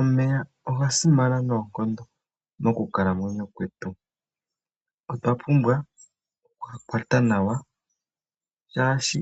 Omeya oga simana noonkondo mokukalamwenyo kwetu, otwa pumbwa okuga kwata nawa shaashi